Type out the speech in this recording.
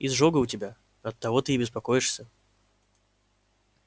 изжога у тебя оттого ты и беспокоишься